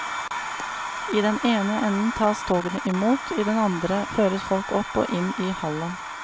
I den ene enden tas togene imot, i den andre føres folk opp og inn i hallen.